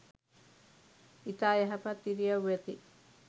ඉතා යහපත් ඉරියව් ඇති